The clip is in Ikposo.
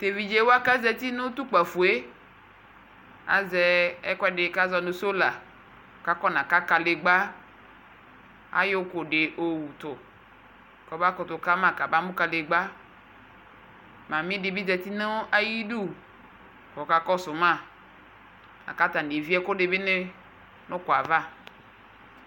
Tʋ evidze wa kazati nʋ tʋ kpafo yɛ azɛ ɛkʋɛdi kazɔ nʋ sola kʋ akɔna ka kadigba Ayɔ ʋkʋ di yɔwutʋ kʋ ɔbakʋtʋ kama kabamʋ kadigba Mami di bi zati nʋ ayidu kʋ ɔkakɔsʋ ma, kʋ atani evie ɛkʋɛdini bi nʋ ʋkʋ yɛ ava